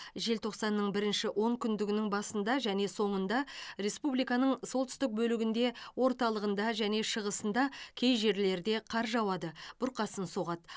желтоқсанның бірінші онкүндігінің басында және соңында республиканың солтүстік бөлігінде орталығында және шығысында кей жерлерде қар жауады бұрқасын соғады